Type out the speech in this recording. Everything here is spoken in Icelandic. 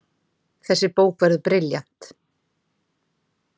Þessi bók verður brilljant.